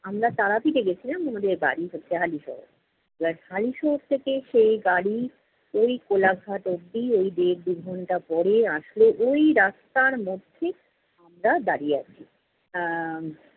আমরা তারা পীঠে গেছিলাম আমাদের বাড়ি হচ্ছে হালিশহর। এবার হালিশহর থেকে সেই গাড়ি, ওই কোলাঘাট অব্দি ওই দেড় দু'ঘন্টা পরে আসলো। ঐ রাস্তার মধ্যে আমরা দাঁড়িয়ে আছি। আহ